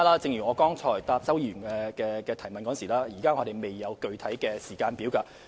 正如我剛才答覆周議員的質詢時所指，我們現時未有具體時間表。